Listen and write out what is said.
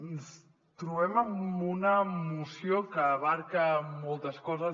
ens trobem amb una moció que abasta moltes coses